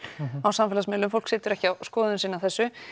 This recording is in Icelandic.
á samfélagsmiðlum fólk situr ekki á skoðun sinni á þessu